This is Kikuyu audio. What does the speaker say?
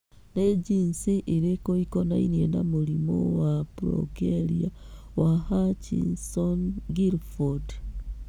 Nĩ jinici irĩkũ ikonainie na mũrimũ wa progeria wa Hutchinson Gilford?